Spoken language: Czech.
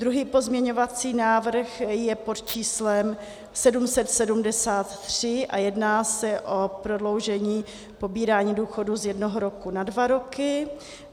Druhý pozměňovací návrh je pod číslem 773 a jedná se o prodloužení pobírání důchodu z jednoho roku na dva roky.